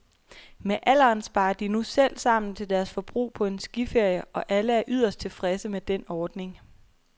Med alderen sparer de nu selv sammen til deres forbrug på en skiferie, og alle er yderst tilfredse med den ordning.